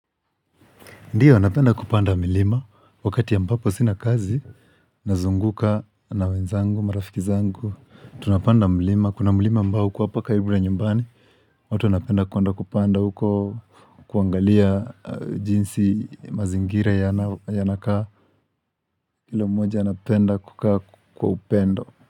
Ndio napenda kupanda milima wakati ambapo sina kazi, nazunguka na wenzangu, marafiki zangu, tunapanda milima. Kuna milima ambao hukuwa hapa karibu na nyumbani, watu wanapenda kuande kupanda huko kuangalia jinsi mazingira yanakaa. Kila mmoja anapenda kukaa kwa upendo.